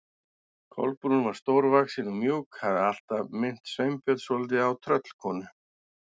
Kolbrún var stórvaxin og mjúk, hafði alltaf minnt Sveinbjörn svolítið á tröllkonu.